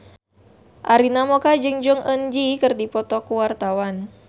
Arina Mocca jeung Jong Eun Ji keur dipoto ku wartawan